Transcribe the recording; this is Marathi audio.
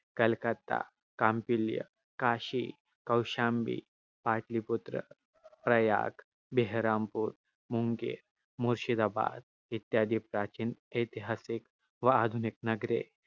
कलकत्ता, कौंडिल्य, काशी, कौशाम्बी, पाटलीपुत्र, प्रयाग, बेहरामपूर, मुर्शिदाबाद इत्यादी प्राचीन, ऐतिहासिक व आधुनिक नगरे